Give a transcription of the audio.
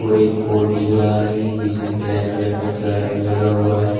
और एक बोर्ड दिख रहा है जिसमें ब्लैक कलर का चार्ज भी लगा हुआ है।